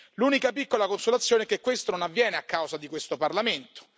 L'unica piccola consolazione è che questo non avviene a causa di questo Parlamento.